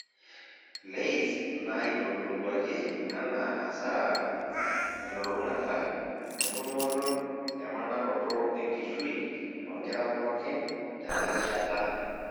LAYS naiitodoluaki anaa hasara elulung'ata entumoto emanaroto enkishui toonkera pookin tenarishata